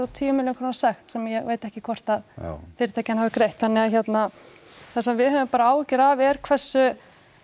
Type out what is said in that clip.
tíu milljón króna sekt sem ég veit ekki hvort að fyrirtækin hafi greitt þannig að hérna það sem við höfum áhyggjur af er bara hversu